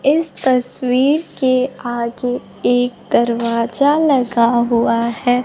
इस तस्वीर के आगे एक दरवाजा लगा हुआ है।